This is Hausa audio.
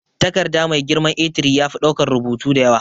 Takarda mai girman A3 yafi daukan rubutu da yawa.